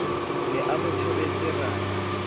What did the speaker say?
ne a mo thobetse ra